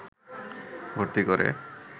ভর্তি করে